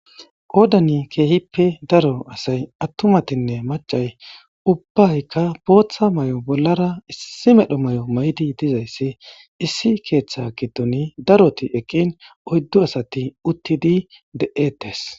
Odani keehippe daro asay attumatinne macay ubbaykka booththa may7o bollara issi medho may7o maydi dizayssi issi keeththa giddoni daroti eqqin oyddu asati uttidi de7ettes.